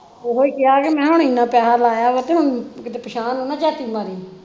ਓਹੋ ਕਿਹਾ ਕਿ ਮੈਂ ਹੁਣ ਇਨਾ ਪੈਹਾ ਲਾਇਆ ਵਾ ਤੇ ਹੁਣ ਕੀਤੇ ਪਿਛਾਂਹ ਨੂੰ ਨਾ ਮਾਰੀ